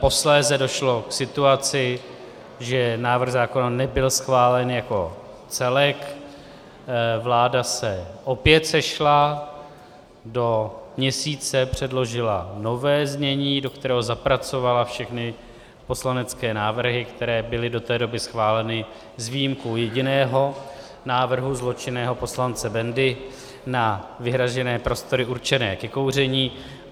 Posléze došlo k situaci, že návrh zákona nebyl schválen jako celek, vláda se opět sešla, do měsíce předložila nové znění, do kterého zapracovala všechny poslanecké návrhy, které byly do té doby schváleny, s výjimkou jediného návrhu zločinného poslance Bendy na vyhrazené prostory určené ke kouření.